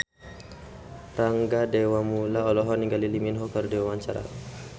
Rangga Dewamoela olohok ningali Lee Min Ho keur diwawancara